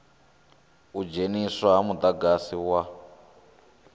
u dzheniswa ha mudagasi wa